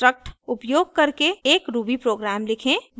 उचित loop construct उपयोग करके एक ruby प्रोग्राम लिखें